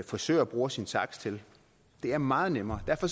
frisør bruger sin saks til det er meget nemmere derfor